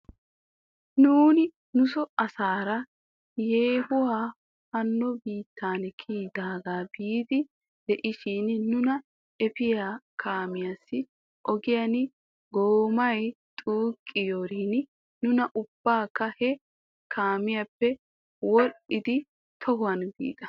Nuuni nuso asaara yeehoy haaho biittan kiyidaagaa biiddi de'ishin nuna efiyaa kaamiyaassi ogiyan goomay xuuqiyoorin nuuni ubbaykka he kaamiyaappe wo'dhdhidi tohuwan biida.